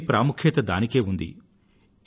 దేని ప్రాముఖ్యం దానికే ఉంది